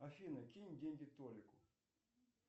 афина кинь деньги толику